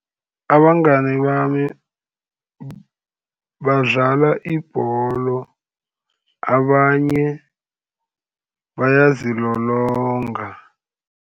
Abangani bami badlala ibholo, abanye bayazilolonga.